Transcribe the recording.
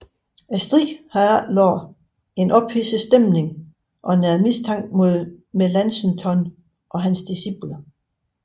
Striden havde efterladt en ophidset stemning og næret mistanken mod Melanchthon og hans disciple